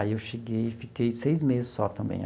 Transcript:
Aí eu cheguei e fiquei seis meses só também.